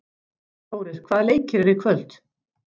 Þórir, hvaða leikir eru í kvöld?